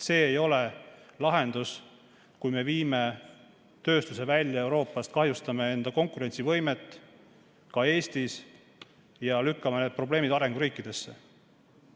See ei ole lahendus, kui me viime tööstuse Euroopast välja, kahjustame enda konkurentsivõimet, ka Eestis, ja lükkame need probleemid arenguriikidesse.